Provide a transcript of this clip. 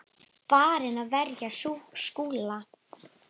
Farinn að verja Skúla!